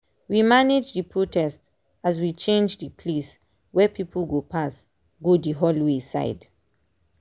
we manage the protest as we change the place where people go pass go the hallway side